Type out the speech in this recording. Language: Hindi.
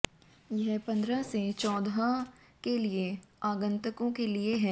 यह पंद्रह से चौदह के लिए आगंतुकों के लिए है